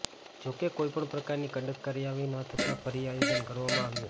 જો કે કોઇપણ પ્રકારની કડક કાર્યવાહી ન થતા ફરી આયોજન કરવામાં આવ્યું